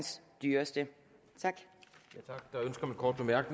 et ønske om en kort bemærkning